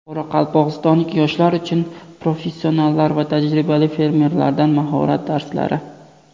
Qoraqalpog‘istonlik yoshlar uchun professionallar va tajribali fermerlardan mahorat darslari.